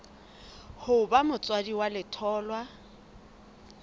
ho ba motswadi wa letholwa